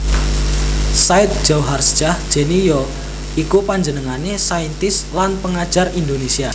Said Djauharsjah Jenie ya iku panjenengané saintis lan pengajar Indonésia